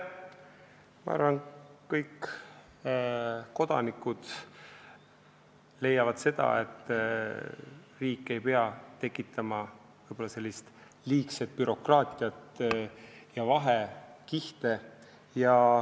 Ma arvan, et kõik kodanikud leiavad, et riik ei pea tekitama liigset bürokraatiat ja vahekihte.